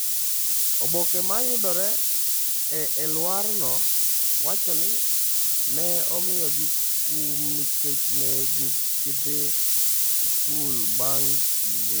Oboke ma yudore e alworano wacho ni ne imiyogi kum nikech ne gidhi sikul bang’ kinde.